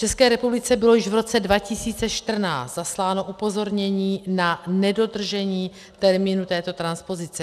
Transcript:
České republice bylo již v roce 2014 zasláno upozornění na nedodržení termínu této transpozice.